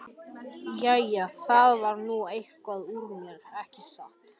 Jæja, það varð nú eitthvað úr mér, ekki satt?